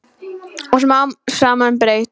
Og smám saman breyt